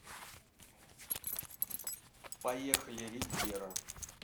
поехали ривьера